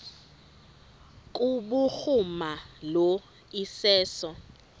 kubhuruma lo iseso